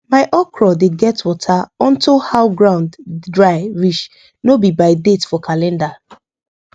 my okra dey get water onto how ground dry reach no be by date for calendar